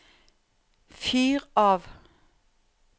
fyr av